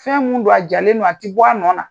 Fɛn min don a jalen don a tɛ bɔ a nɔ na